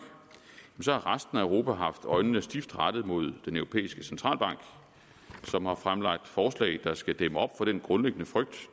har resten af europa haft øjnene stift rettet mod den europæiske centralbank som har fremlagt forslag der skal dæmme op for den grundlæggende frygt